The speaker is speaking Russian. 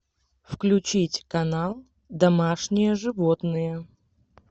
включить канал домашние животные